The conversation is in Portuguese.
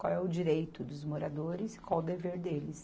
Qual é o direito dos moradores e qual o dever deles.